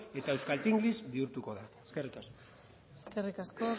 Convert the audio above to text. eta euskaltenglish bihurtuko da eskerrik asko eskerrik asko